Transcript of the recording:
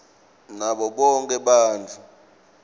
nabo bonkhe bantfu